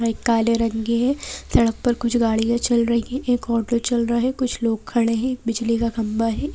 एक काले रंग के है सड़क पर कुछ गाड़ियां चल रही है एक ऑटो चल रहा है कुछ लोग खड़े हैं बिजली का खबा है।